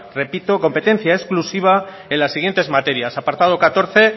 repito competencia exclusiva en las siguientes materias apartado catorce